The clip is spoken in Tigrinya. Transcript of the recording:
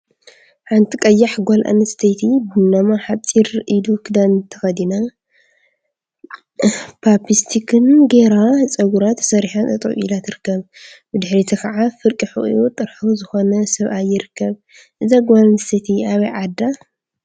ሓንቲ ቀያሕ ጓል አንስተይቲ ቡናማ ሓፂር ኢዱ ክዳን ተከዲና ፤ቻፕስቲክ ገይራ ፀጉራ ተሰሪሓን ጠጠወ ኢላ ትርከብ፡፡ ብድሕሪታ ከዓ ፍርቂ ሑቂኡ ጥርሑ ዝኮነ ሰብአይ ይርከብ፡፡ እዛ ጓል አንስተይቲ አበይ ዓዳ?